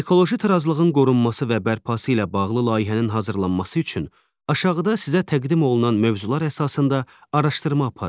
Ekoloji tarazlığın qorunması və bərpası ilə bağlı layihənin hazırlanması üçün aşağıda sizə təqdim olunan mövzular əsasında araşdırma aparın.